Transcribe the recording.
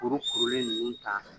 Kurukurulen ninnu ta